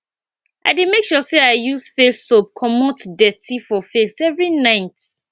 i dey make sure sey i use face soap comot dirty for face every night